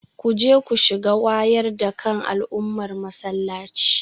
Kuje ku shiga wayar da kan al'ummar masallaci